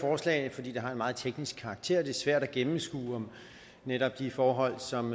forslag fordi det har en meget teknisk karakter og det er svært at gennemskue netop de forhold som